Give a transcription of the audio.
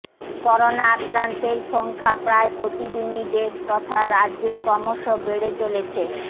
corona আক্রান্তের সংখ্য়া প্রায় প্রতিদিনই দেশ তথা রাজ্য়ে ক্রমশ বেড়ে চলেছে